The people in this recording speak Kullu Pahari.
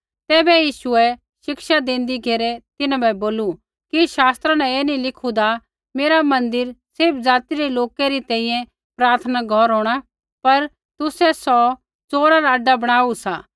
तैबै यीशुऐ शिक्षा देंदी घेरै तिन्हां बै बोलू कि शास्त्रा न ऐ नी लिखुदा मेरा मन्दिर सैभी ज़ाति रै लोकै री तैंईंयैं प्रार्थना रा घौर होंणा पर तुसै सौ च़ोरा रा आड्डा बणाऊ सा